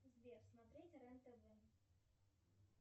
сбер смотреть рен тв